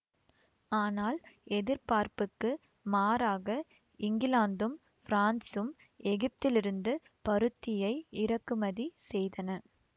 ஆனால் எதிர்பார்ப்புக்கு மாறாக இங்கிலாந்தும் பிரான்சும் எகிப்திலிருந்து பருத்தியை இறக்குமதி செய்தன